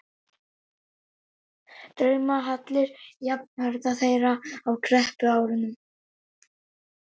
draumahallir jafnaldra þeirra á kreppuárunum.